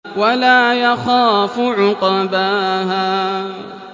وَلَا يَخَافُ عُقْبَاهَا